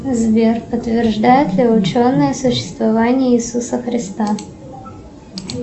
сбер подтверждают ли ученые существование иисуса христа